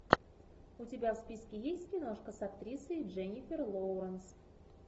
у тебя в списке есть киношка с актрисой дженнифер лоуренс